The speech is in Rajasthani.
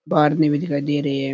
भी दिखाई दे रही है।